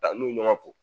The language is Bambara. Ka n'u ɲɔgɔn kɔ